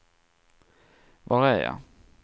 var är jag